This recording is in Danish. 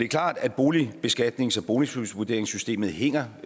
klart at boligbeskatningen og boligvurderingssystemet hænger